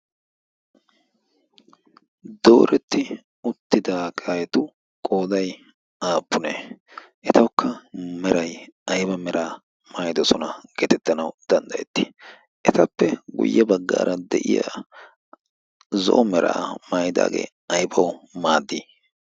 dooretti uttida qaetu qooday aappune etaukka meray ayba mera'a maayidosona geetettanau danddayetti etappe guyye baggaara de'iya zo'o meraa maayidaagee aybawu maaddii?